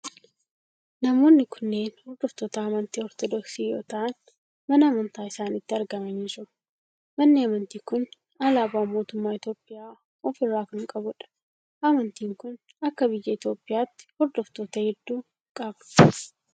Namoonni kunneen hordoftoota amantii ortodoksii yoo ta'aan mana amantaa isaanitti argamanii jiru. Manni amantii kun alaabaa mootummaa Itiyoophiyaa of irraa kan qabudha. Amantiin kun akka biyya Itiyoophiyaatti hordoftoota hedduu qaba.